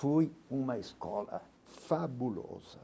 Foi uma escola fabulosa.